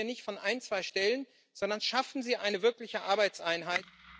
Ich rede hier nicht von ein, zwei Stellen, sondern schaffen Sie eine wirkliche Arbeitseinheit!